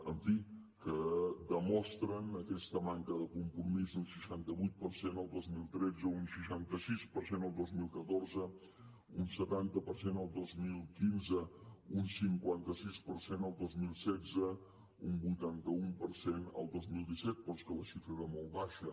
en fi que demostren aquesta manca de compromís un seixanta vuit per cent el dos mil tretze un seixanta sis per cent el dos mil catorze un setanta per cent el dos mil quinze un cinquanta sis per cent el dos mil setze un vuitanta un per cent el dos mil disset però és que la xifra era molt baixa